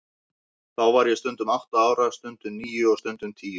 Þá var ég stundum átta ára, stundum níu og stundum tíu.